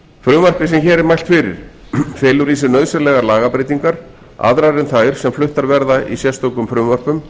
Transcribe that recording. frumvarpið sem hér er mælt fyrir felur í sér nauðsynlegar lagabreytingar aðrar en þær sem fluttar verða í sérstökum frumvörpum